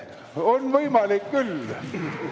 On võimalik küll!